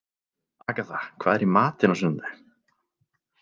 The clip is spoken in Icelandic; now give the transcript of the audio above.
Agatha, hvað er í matinn á sunnudaginn?